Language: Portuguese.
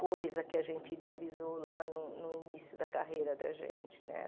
coisa que a gente idealizou lá no início da carreira da gente né.